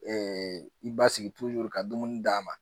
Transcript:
i basigi ka dumuni d'a ma